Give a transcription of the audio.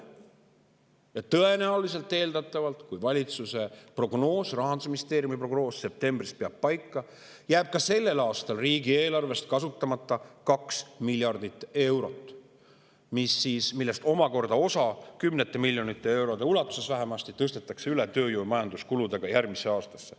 Ja tõenäoliselt, eeldatavalt, kui valitsuse ja Rahandusministeeriumi prognoos septembrist peab paika, jääb ka sellel aastal riigieelarvest kasutamata 2 miljardit eurot, millest omakorda osa, vähemasti kümneid miljoneid eurosid, tõstetakse tööjõu- ja majandamiskuludega üle järgmisse aastasse.